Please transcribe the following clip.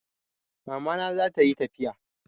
Mama na zata yi tafiya